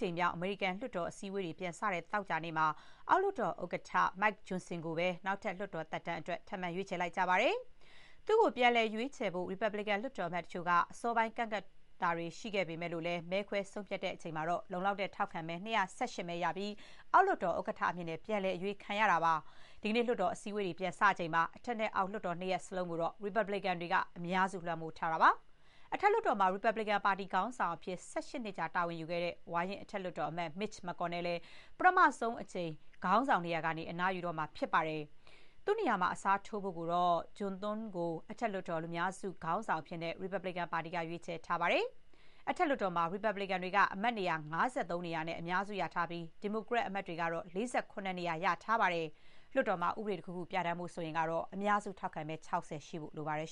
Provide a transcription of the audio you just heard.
ကြိမ်မြောက် အမေရိကန် လွှတ်တော်အစည်းအဝေးတွေ ပြန်စတဲ့ သောကြာနေ့မှာ အောက်လွှတ်တော်ဥက္ကဋ္ဌ Mike Johnson ကိုပဲ နောက်ထပ် လွှတ်တော်သက်တမ်းအတွက် ထပ်မံ ရွေးချယ်လိုက်ပါတယ်။ သူ့ကို ပြန်လည် ရွေးချယ်ဖို့ ရီပတ်ဘလစ်ကန် လွှတ်တော်အမတ်တချို့က အစောပိုင်း ကန့်ကွက်တာတွေ ရှိခဲ့ပေမဲ့၊ မဲခွဲ ဆုံးဖြတ်ချိန်မှာတော့ လုံလောက်တဲ့ ထောက်ခံမဲ ၂၁၈ မဲ ရပြီး အောက်လွှတ်တော် ဥက္ကဋ္ဌအဖြစ် ပြန်လည် အရွေးခံခဲ့ရတာပါ။ ဒီကနေ့ လွှတ်တော် အစည်းအဝေးတွေ ပြန်စချိန်မှာ အထက်နဲ့အောက် လွှတ်တော်နှစ်ရပ်လုံးကိုတော့ ရီပတ်ဘလစ်ကန် အမတ်တွေက အများစု လွှမ်းမိုးထားပါတယ်။ အထက်လွှတ်တော်မှာ ရီပတ်ဘလစ်ကန် ပါတီခေါင်းဆောင်အဖြစ် ၁၈ နှစ်ကြာ တာဝန်ယူခဲ့တဲ့ ဝါရင့် အထက် လွှတ်တော်အမတ် Mitch McConnell လည်း ပထမဆုံးအကြိမ် ခေါင်းဆောင်နေရာကနေ အနားယူတော့မှာ ဖြစ်ပါတယ်။ သူ့နေရာမှာ အစားထိုးဖို့ကိုတော့ John Thune ကို အထက်လွှတ်တော် လူများစု ခေါင်းဆောင်အဖြစ် ရီပတ်ဘလစ်ကန် ပါတီက ရွေးချယ်ထားပါတယ်။ အထက်လွှတ်တော်မှာ ရီပတ်ဘလစ်ကန်တွေက အမတ်နေရာ ၅၃ နေရာနဲ့ အများစု ရထားပြီး ဒီမိုကရက်အမတ်တွေက ၄၇ နေရာ ရထားပါတယ်။ လွှတ်တော်မှာ ဥပဒေတခုခု ပြဋ္ဌာန်းဖို့ ဆိုရင်တော့ အများစု ထောက်ခံမဲ ၆၀ ရှိဖို့ လိုအပ်ပါတယ်